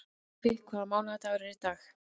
Ævi, hvaða mánaðardagur er í dag?